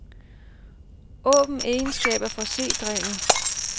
Åbn egenskaber for c-drevet.